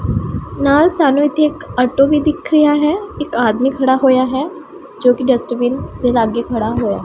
ਨਾਲ ਸਾਨੂੰ ਇੱਥੇ ਇੱਕ ਔਟੋ ਵੀ ਦਿਖ ਰਿਹਾ ਹੈ ਇੱਕ ਆਦਮੀ ਖੜਾ ਹੋਇਆ ਹੈ ਜੋ ਕਿ ਡਸਟਬਿਨ ਦੇ ਲਾਗੇ ਖੜਾ ਹੋਇਆ --